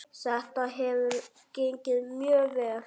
Þetta hefur gengið mjög vel.